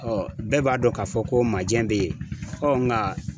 bɛɛ b'a dɔn ka fɔ ko maajɛ be yen nka